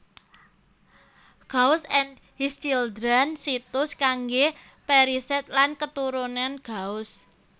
Gauss and His Children situs kanggé perisèt lan keturunan Gauss